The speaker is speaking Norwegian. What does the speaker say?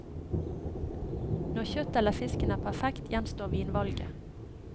Når kjøttet eller fisken er perfekt, gjenstår vinvalget.